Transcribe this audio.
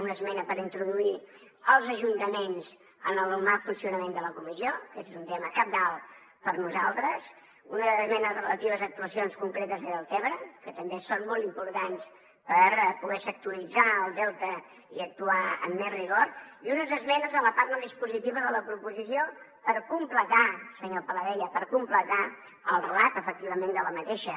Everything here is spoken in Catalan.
una esmena per introduir els ajuntaments en el normal funcionament de la comissió aquest és un tema cabdal per nosaltres unes esmenes relatives a actuacions concretes a deltebre que també són molt importants per poder sectoritzar el delta i actuar amb més rigor i unes esmenes a la part no dispositiva de la proposició per completar senyor paladella per completar el relat efectivament d’aquesta